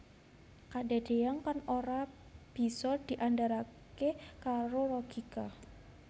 Kadadeyan kang ora bisa diandharake karo logika